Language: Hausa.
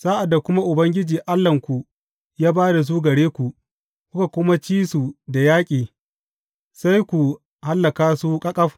Sa’ad da kuma Ubangiji Allahnku ya ba da su gare ku, kuka kuma ci su da yaƙi, sai ku hallaka su ƙaƙaf.